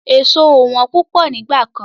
Èso ò wọ́n púpọ̀ nígbà kan.